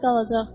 O da qalacaq.